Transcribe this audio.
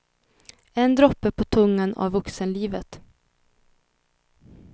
En droppe på tungan av vuxenlivet.